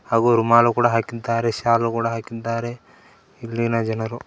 ಹಾಗೂ ರುಮಾಲು ಕೂಡ ಹಾಕಿದ್ದಾರೆ ಶಾಲು ಕೂಡ ಹಾಕಿದ್ದಾರೆ ಇಲ್ಲಿನ ಜನರು.